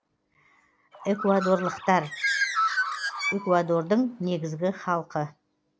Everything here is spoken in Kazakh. экуадорлықтар эквадорлықтар экуадордың негізгі халқы